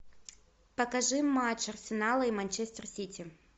покажи матч арсенала и манчестер сити